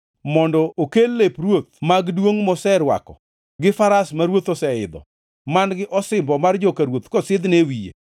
mondo okel lep ruoth mag duongʼ moserwako gi faras ma ruoth oseidho, man-gi osimbo mar joka ruoth kosidhne e wiye.